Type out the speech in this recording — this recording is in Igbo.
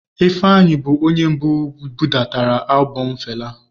Ifeanyi bụ onye mbụ budatara albọm Fela.